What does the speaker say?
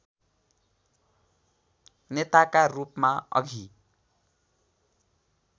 नेताका रूपमा अघि